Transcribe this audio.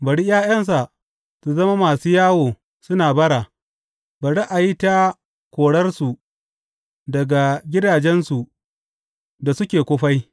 Bari ’ya’yansa su zama masu yawo suna bara; bari a yi ta koransu daga gidajensu da suke kufai.